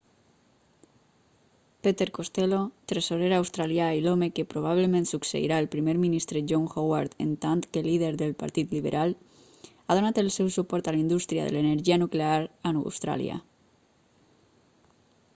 peter costello tresorer australià i l'home que probablement succeirà el primer ministre john howard en tant que líder del partit liberal ha donat el seu suport a la indústria de l'energia nuclear a austràlia